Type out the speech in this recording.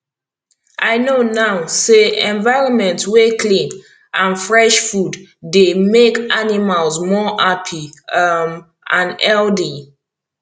i know now say environment wey clean and fresh food dey make animals more happy um and healthy